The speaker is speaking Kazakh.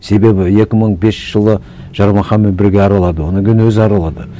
себебі екі мың бесінші жылы жармаханмен бірге аралады одан кейін өзі аралады